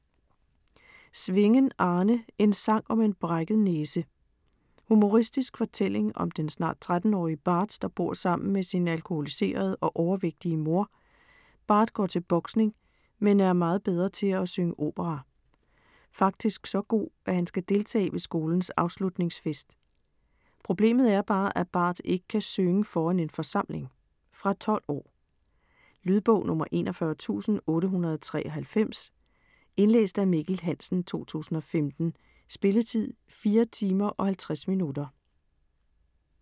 Svingen, Arne: En sang om en brækket næse Humoristisk fortælling om den snart 13-årige Bart der bor sammen med sin alkoholiserede og overvægtige mor. Bart går til boksning, men er meget bedre til at synge opera. Faktisk så god at han skal deltage ved skolens afslutningsfest. Problemet er bare at Bart ikke kan synge foran en forsamling. Fra 12 år. Lydbog 41893 Indlæst af Mikkel Hansen, 2015. Spilletid: 4 timer, 50 minutter.